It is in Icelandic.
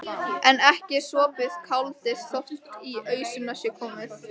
En ekki er sopið kálið þótt í ausuna sé komið.